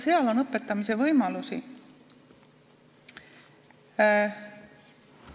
Nii et õpetamise võimalusi on.